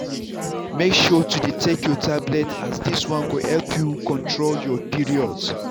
make sure to dey take your tablet as this one go help you control your period.